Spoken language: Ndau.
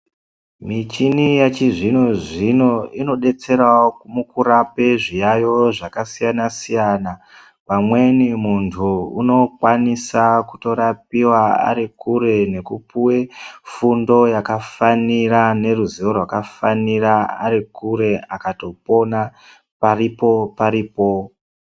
Michini yechizvinozvino inodetserawo mukurape zviyayo zvakasiyanasiyana pamweni munhu unokwanisa kutorapiwa arikure nekupuwe fundo yakafanira neruziwo rwakafanira arikure akatopona paripo paripo.